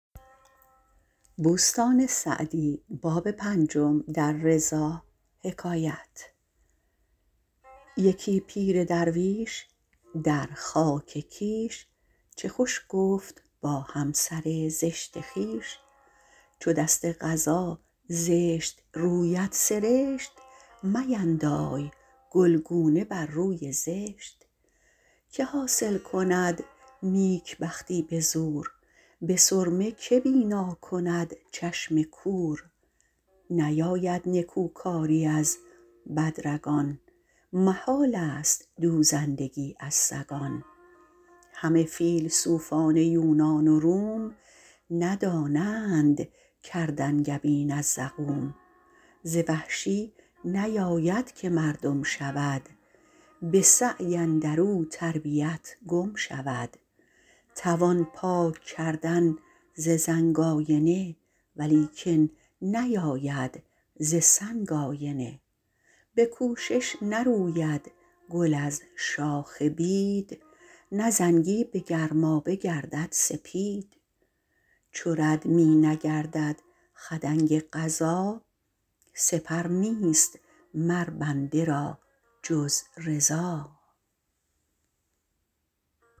یکی پیر درویش در خاک کیش چه خوش گفت با همسر زشت خویش چو دست قضا زشت رویت سرشت میندای گلگونه بر روی زشت که حاصل کند نیکبختی به زور به سرمه که بینا کند چشم کور نیاید نکوکاری از بد رگان محال است دوزندگی از سگان همه فیلسوفان یونان و روم ندانند کرد انگبین از زقوم ز وحشی نیاید که مردم شود به سعی اندر او تربیت گم شود توان پاک ‎کردن ز زنگ آینه ولیکن نیاید ز سنگ آینه به کوشش نروید گل از شاخ بید نه زنگی به گرمابه گردد سپید چو رد می نگردد خدنگ قضا سپر نیست مر بنده را جز رضا